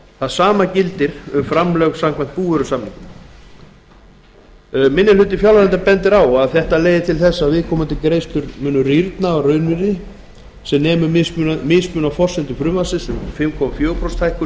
það sama gildi um framlög samkvæmt búvörusamningum minni hlutinn bendir á að þetta leiði til þess að viðkomandi greiðslur munu rýrna að raunvirði eða sem nemur mismuninum á raunverulegum verðlagsbreytingum og fimm komma fjögur prósent